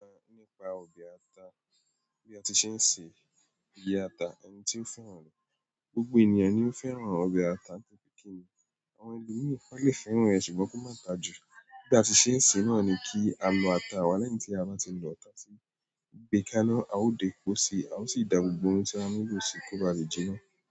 Rí i pé nípa ọbẹ̀ ata, bí a ṣe ń ṣe ìgbé ata, ẹni tí ó fẹ́ràn rẹ̀. Gbogbo ènìyàn ni ó fẹ́ràn ọbẹ̀ ata, ṣùgbọ́n àwọn ẹlòmíràn lè fẹ́ràn rẹ̀ kí ó má ta jù. Bí a ti ṣe ń ṣe náà ni kí a lọ ata wa lẹ́yìn tí a bá ti lọ, tá ti gbé kàná, a ó dẹ epo sí, a ó sì da gbogbo n tí a nílò ó sì kóbà le jì náà.